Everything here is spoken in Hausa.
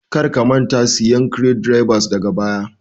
Kar ka manta da siyan screw drivers daga baya